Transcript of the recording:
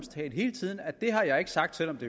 hele tiden med at det har jeg ikke sagt selv om